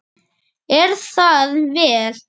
Er það vel.